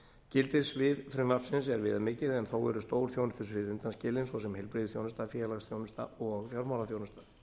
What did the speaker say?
gildissvið frumvarpsins er viðamikið en þó eru stór þjónustusvið undanskilin svo sem heilbrigðisþjónusta félagsþjónusta og fjármálaþjónusta